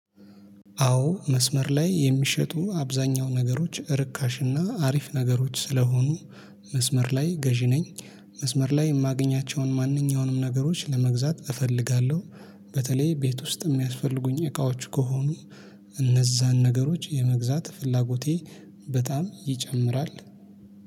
አዎ መስመር ላይ የሚሸጡ አብዛኛው ነገሮች ርካሽና አሪፍ ነገሮች ስለሆኑ መስመር ላይ ገዢ ነኝ። መስመር ላይ የማገኛቸውን ማንኛውንም ነገሮች ለመግዛት እፈልጋለሁ። በተለይ ቤት ውስጥ የሚያስፈልጉኝ እቃዎች ከሆኑ። እነዛን ነገሮች የመግዛት ፍላጎቴ በጣም ይጨምራል